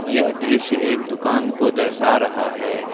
यह दृश्य एक दुकान को दर्शा रहा है।